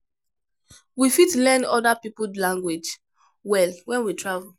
We fit learn oda pipo language well when we travel